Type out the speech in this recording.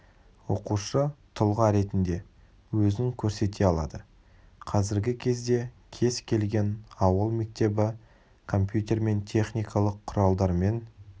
оқушы тұлға ретінде өзін көрсете алады қазіргі кезде кез келген ауыл мектебі компьютермен техникалық құралдармен